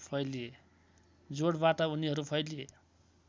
जोडबाट उनीहरू फैलिए